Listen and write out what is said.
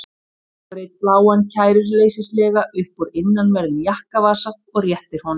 Dregur einn bláan kæruleysislega upp úr innanverðum jakkavasa og réttir honum.